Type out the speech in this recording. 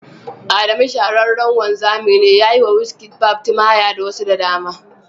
Adamu shahararren wanzami ne, ya yi wa Wizkid barbs, timaya da wasu da dama